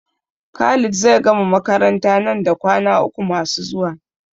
Khalid zai gama makaranta nan da kwana uku masu zuwa.